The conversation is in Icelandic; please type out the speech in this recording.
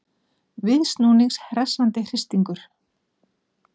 Viðsnúnings hressandi hristingur